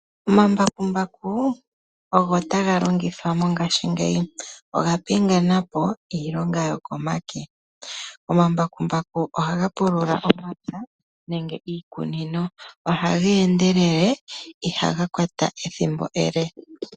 Omambakumbaku ogo taga longithwa mongashingeyi . Oga pingenapo iilonga yokomake . Omambakumbaku ohaga pulula omapya nenge iikunino. Ohaga endelele, ihaga kwata ethimbo ele.